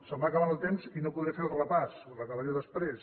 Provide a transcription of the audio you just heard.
se’m va acabant el temps i no podré fer el repàs o l’acabaré després